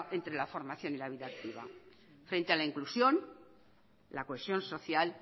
entre la formación y la vida activa frente a la inclusión la cohesión social